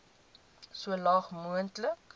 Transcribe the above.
so laag moontlik